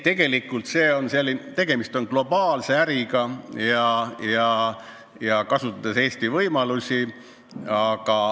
Tegelikult on tegemist globaalse äriga ja Eesti võimaluste kasutamisega.